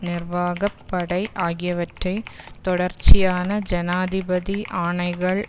நிர்வாக படை ஆகியவற்றை தொடர்ச்சியான ஜனாதிபதி ஆணைகள்